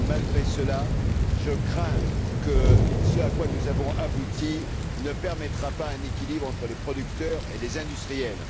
Malgré cela, je crains que ce à quoi nous avons abouti ne permette pas un équilibre entre les producteurs et les industriels.